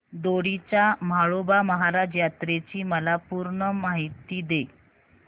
दोडी च्या म्हाळोबा महाराज यात्रेची मला पूर्ण माहिती दे